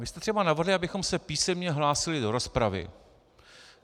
Vy jste třeba navrhli, abychom se písemně hlásili do rozpravy.